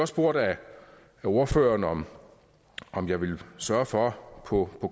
spurgt af ordføreren om om jeg ville sørge for på